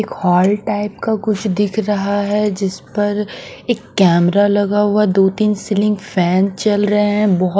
एक hall type का कुछ दिख रहा है जिस पर एक कैमरा लगा हुआ दो-तीन सीलिंग फैन चल रहे हैं।